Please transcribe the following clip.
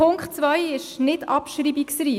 Punkt 2 ist nicht abschreibungsreif.